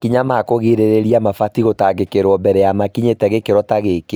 Makinya ma kũgirĩrĩria mabatie gũtangĩkĩrwo mbere ya makinyĩte gĩkĩro ta gĩkĩ